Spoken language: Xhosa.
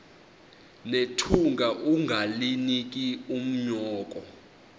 nethunga ungalinik unyoko